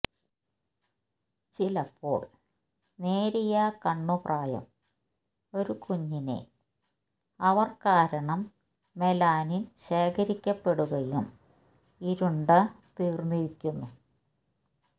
ചിലപ്പോൾ നേരിയ കണ്ണു പ്രായം ഒരു കുഞ്ഞിനെ അവർ കാരണം മെലാനിൻ ശേഖരിക്കപ്പെടുകയും ഇരുണ്ട തീർന്നിരിക്കുന്നു